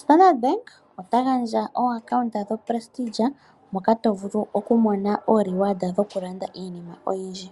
Standard bank ota gandja okambo ko Pristige moka tovulu okumona oopente dhoku landa iinima oyindji.